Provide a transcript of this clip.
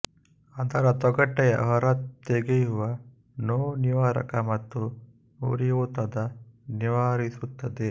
ಅದರ ತೊಗಟೆಯ ಹೊರ ತೆಗೆಯುವ ನೋವುನಿವಾರಕ ಮತ್ತು ಉರಿಯೂತದ ನಿವಾರಿಸುತ್ತದೆ